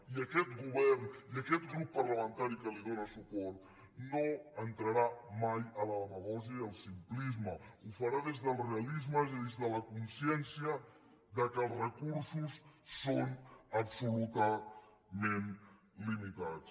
i aquest govern i aquest grup parlamentari que li dóna suport no entraran mai a la demagògia i al simplisme ho faran des del realisme i des de la consciència que els recursos són absolutament limitats